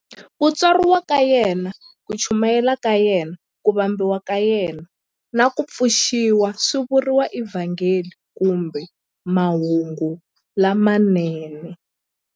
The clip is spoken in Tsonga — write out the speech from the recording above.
Ku tswariwa ka yena, ku chumayela ka yena, ku vambiwa ka yena, na ku pfuxiwa swi vuriwa eVhangeli kumbe"Mahungu lamanene".